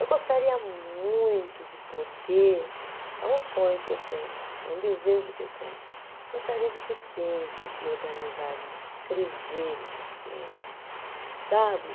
Eu gostaria muito de poder, é um sonho que eu tenho, é um desejo que eu tenho, gostaria de ter tempo de organizar isso, escrever esses temas, sabe?